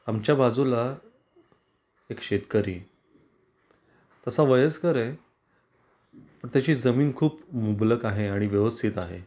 आमच्या बाजूला एक शेतकरी, तसा वयस्कर आहे. तर त्याची जमीन खूप मुबलक आहे आणि व्यवस्थित आहे.